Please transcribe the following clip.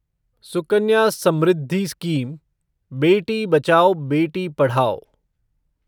Sukanya Samriddhi scheme Beti Bachao Beti Padhao